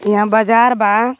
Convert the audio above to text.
इहां बाजार बा.